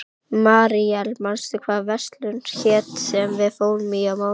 Míríel, manstu hvað verslunin hét sem við fórum í á mánudaginn?